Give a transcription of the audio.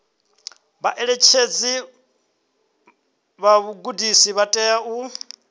vhaṋetshedzi vha vhugudisi vha tea